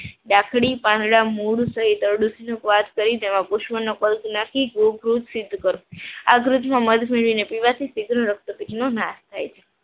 લાકડી પાંદડા મૂળ સહિત અરડી સ્વાદ કરી તેમાં પુષ્પનો પલ્પ નાખી આ ગ્રુપમાં મત મેળવી પીવાથી શિગ્ર રક્તપીસનો નાશ થાય છે.